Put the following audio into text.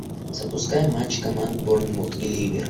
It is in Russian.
запускай матч команд борнмут и ливер